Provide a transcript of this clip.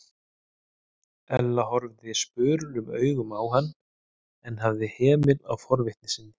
Ella horfði spurulum augum á hann en hafði hemil á forvitni sinni.